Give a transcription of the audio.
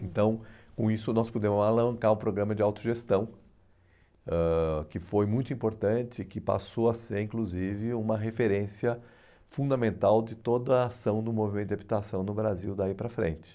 Então, com isso, nós pudemos alancar o programa de autogestão, ãh que foi muito importante e que passou a ser, inclusive, uma referência fundamental de toda a ação do movimento de habitação no Brasil daí para frente.